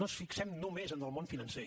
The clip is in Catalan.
no ens fixem només en el món financer